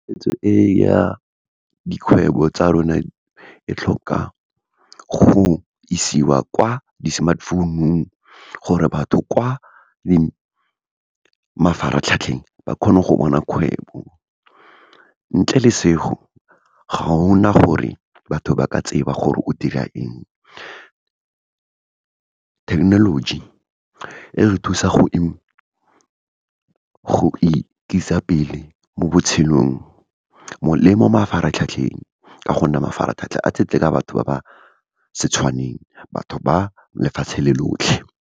Tshwetso e ya dikgwebo tsa rona, e tlhoka go isiwa kwa di-smartphone-ung, gore batho kwa mafaratlhatlheng ba kgone go bona kgwebo, ntle le , ga gona gore batho ba ka tseba gore o dira eng. Thekenoloji, e re thusa go ikisa pele mo botshelong, le mo mafaratlhatlheng, ka gonne mafaratlhatlha a tletse ka batho ba ba se tswaneng, batho ba lefatshe le lotlhe.